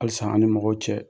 Halisa an' ni mɔgɔw cɛ.